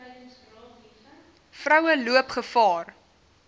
vroue loop gevaar